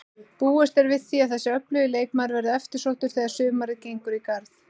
Búist er við því að þessi öflugi leikmaður verði eftirsóttur þegar sumarið gengur í garð.